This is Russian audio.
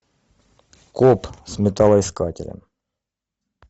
коп с металлоискателем